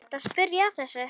Ertu að spyrja að þessu?